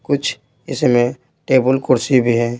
कुछ इसमें टेबल कुर्सी भी हैं।